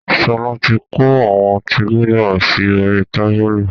Sọlá tí kó àwọn ọtí Gulder sì orí tábìlì